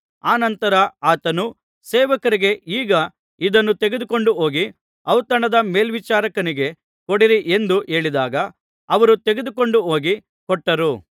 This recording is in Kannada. ಅನಂತರ ಆತನು ಸೇವಕರಿಗೆ ಈಗ ಇದನ್ನು ತೆಗೆದುಕೊಂಡು ಹೋಗಿ ಔತಣದ ಮೇಲ್ವಿಚಾರಕನಿಗೆ ಕೊಡಿರಿ ಎಂದು ಹೇಳಿದಾಗ ಅವರು ತೆಗೆದುಕೊಂಡು ಹೋಗಿ ಕೊಟ್ಟರು